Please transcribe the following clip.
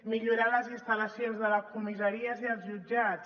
millorar les instal·lacions de les comissaries i dels jutjats